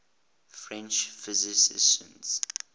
french physicists